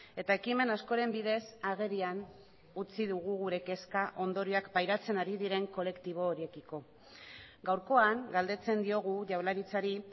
eta ekimen askoren bidez agerian utzi dugu gure kezka ondorioak pairatzen ari diren kolektibo horiekiko gaurkoan galdetzen diogu jaurlaritzari